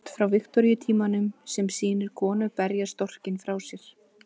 Póstkort frá Viktoríutímanum sem sýnir konu berja storkinn frá sér.